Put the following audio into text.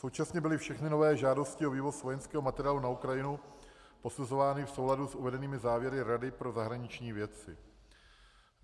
Současně byly všechny nové žádosti o vývoz vojenského materiálu na Ukrajinu posuzovány v souladu s uvedenými závěry Rady pro zahraniční věci.